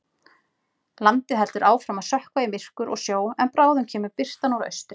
Landið heldur áfram að sökkva í myrkur og sjó en bráðum kemur birtan úr austri.